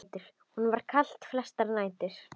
Honum var kalt flestar nætur.